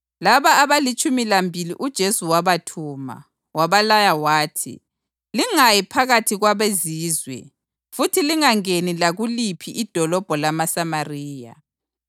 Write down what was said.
Laba abalitshumi lambili uJesu wabathuma, wabalaya wathi, “Lingayi phakathi kwabeZizwe futhi lingangeni lakuliphi idolobho lamaSamariya.